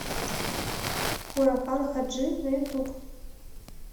хуракан хаджи на ютуб